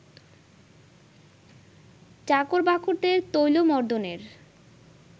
চাকর-বাকরদের তৈলমর্দনের